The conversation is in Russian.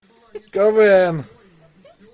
квн